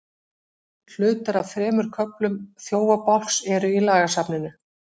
Hlutar af þremur köflum Þjófabálks eru í lagasafninu.